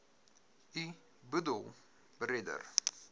u boedel beredder